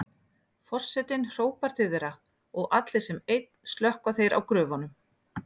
Forsetinn hrópar til þeirra og allir sem einn slökkva þeir á gröfunum.